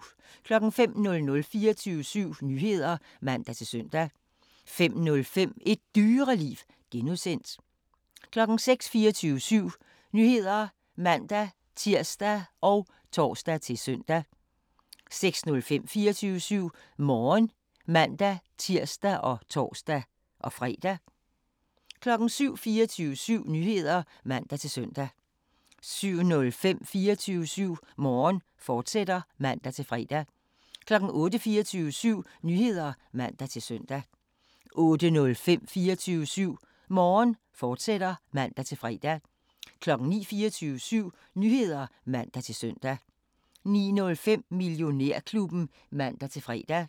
05:00: 24syv Nyheder (man-søn) 05:05: Et Dyreliv (G) 06:00: 24syv Nyheder (man-tir og tor-søn) 06:05: 24syv Morgen (man-tir og tor-fre) 07:00: 24syv Nyheder (man-søn) 07:05: 24syv Morgen, fortsat (man-fre) 08:00: 24syv Nyheder (man-søn) 08:05: 24syv Morgen, fortsat (man-fre) 09:00: 24syv Nyheder (man-søn) 09:05: Millionærklubben (man-fre)